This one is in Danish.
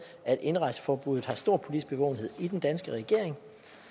at indrejseforbuddet har stor politisk bevågenhed i den danske regering